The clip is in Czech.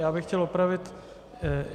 Já bych chtěl opravit.